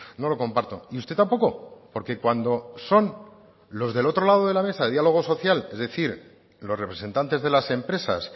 no lo comparto y usted tampoco porque cuando son los del otro lado de la mesa de diálogo social es decir los representantes de las empresas